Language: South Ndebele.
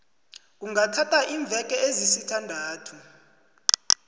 kungathatha iimveke ezisithandathu